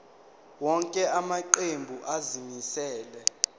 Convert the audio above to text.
wonke amaqembu azimisela